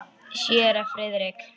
Séra Friðrik